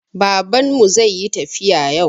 Baban mu zai yi tafiya yau